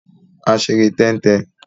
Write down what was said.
A ṣe eré tẹ́ń-tẹn.